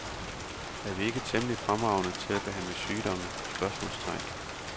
Er vi ikke temmelig fremragende til at behandle sygdomme? spørgsmålstegn